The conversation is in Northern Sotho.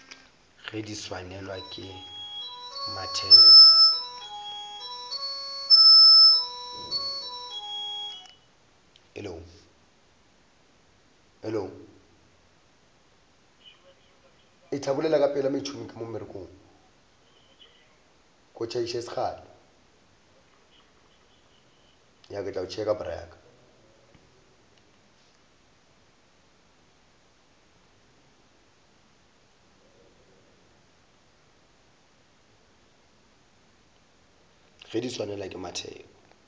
ge di swanelwa ke mathebo